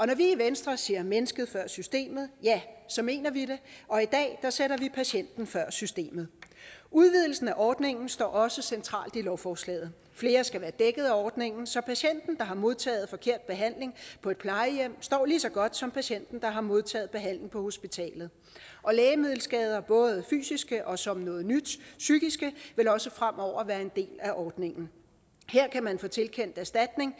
når vi i venstre siger mennesket før systemet mener vi det og i dag sætter vi patienten før systemet udvidelsen af ordningen står også centralt i lovforslaget flere skal være dækkede af ordningen så patienten der har modtaget forkert behandling på et plejehjem står lige så godt som patienten der har modtaget behandling på hospitalet og lægemiddelskader både fysiske og som noget nyt psykiske vil også fremover være en del af ordningen her kan man få tilkendt erstatning